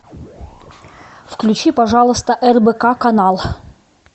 включи пожалуйста рбк канал